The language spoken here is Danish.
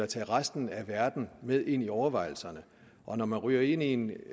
tage resten af verden med ind i overvejelserne og når man ryger ind i en